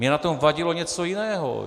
Mně na tom vadilo něco jiného.